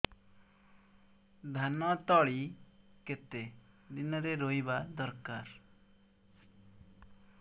ଧାନ ତଳି କେତେ ଦିନରେ ରୋଈବା ଦରକାର